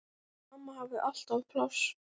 Amma hafði alltaf pláss.